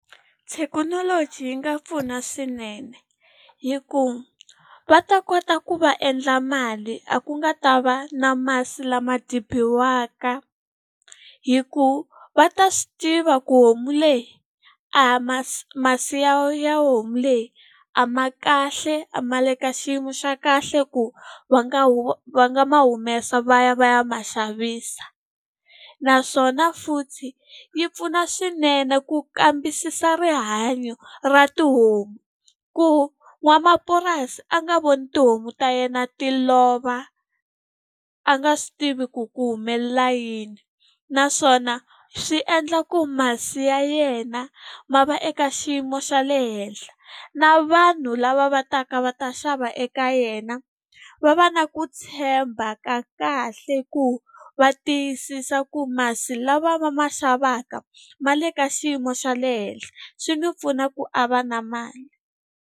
Thekinoloji yi nga pfuna swinene hikuva va ta kota ku va endla mali, a ku nga ta va na masi lama dribiwaka. Hikuva va ta swi tiva ku homu leyi masi ya ya homu leyi a ma kahle, a ma le ka xiyimo xa kahle ku va nga va nga ma humesa va ya va ya ma xavisa. Naswona futhi yi pfuna swinene ku kambisisa rihanyo ra tihomu, ku n'wamapurasi a nga voni tihomu ta yena ti lova a nga swi tivi ku ku humelela yini. Naswona swi endla ku masi ya yena ma va eka xiyimo xa le henhla na vanhu lava va taka va ta xava eka yena, va va na ku tshemba ka kahle ku va tiyisisa ku masi lawa va ma xavaka ma le ka xiyimo xa le henhla. Swi n'wi pfuna ku a va na mali.